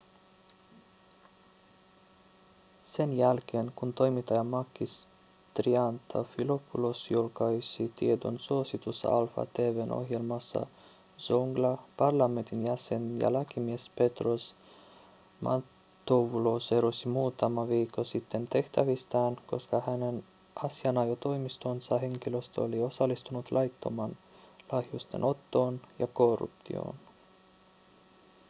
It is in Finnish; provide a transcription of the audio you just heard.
sen jälkeen kun toimittaja makis triantafylopoulos julkaisi tiedon suositussa alfa tv:n ohjelmassaan zoungla parlamentin jäsen ja lakimies petros mantouvalos erosi muutama viikko sitten tehtävistään koska hänen asianajotoimistonsa henkilöstö oli osallistunut laittomaan lahjusten ottoon ja korruptioon